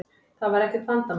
Það var ekkert vandamál.